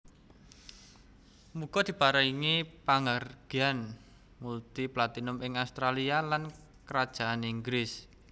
Muga diparingi panghargyaan multi platinum ing Australia lan Kerajaan Inggris